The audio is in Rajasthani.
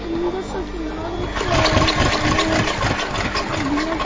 मिंदर सो की लाग रखो है जिकामे --